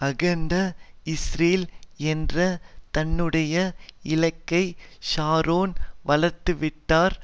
அகண்ட இஸ்ரேல் என்ற தன்னுடைய இலக்கை ஷரோன் வளர்த்துவிட்டார்